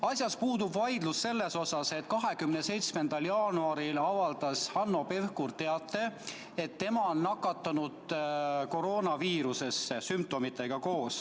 Asjas puudub vaidlus selles mõttes, et 27. jaanuaril teatas Hanno Pevkur, et ta on nakatunud koroonaviirusesse ja tal on sümptomid.